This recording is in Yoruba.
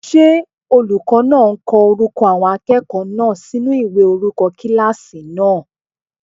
Ṣé olùkọ́ náà ń ko orúkọ àwọn akẹ́kọ̀ọ́ náà sinú ìwé orúkọ kílásì náà?